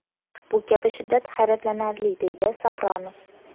Bu kabi shiddat hayratlanarli”, deydi Sapronov.